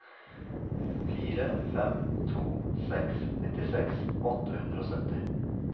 fire fem to seks nittiseks åtte hundre og sytti